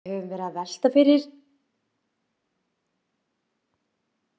Við höfum verið að velta valinu milli rassvöðvans eða hjartans fyrir okkur.